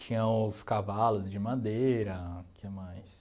Tinha os cavalos de madeira, o que mais?